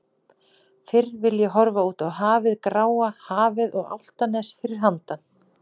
Fyrr vil ég horfa út á hafið gráa hafið og Álftanes fyrir handan.